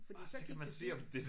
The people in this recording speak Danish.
Fordi så gik det dybt